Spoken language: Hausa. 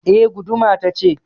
Eh. Guduma ta ce.